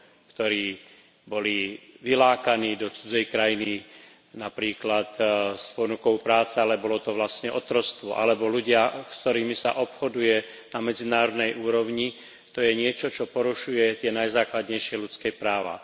ktorí boli vylákaní do cudzej krajiny, napríklad s ponukou práce, ale bolo to vlastne otroctvo, alebo ľudia, s ktorými sa obchoduje na medzinárodnej úrovni, to je niečo, čo porušuje aj tie najzákladnejšie ľudské práva.